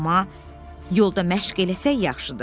Amma yolda məşq eləsək yaxşıdır.